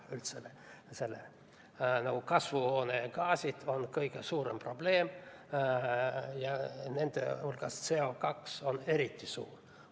Üldse, kasvuhoonegaasid on kõige suurem probleem ja nende hulgas CO2 on eriti suur probleem.